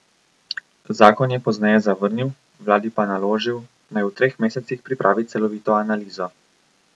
Zakon je pozneje zavrnil, vladi pa naložil, naj v treh mesecih pripravi celovito analizo.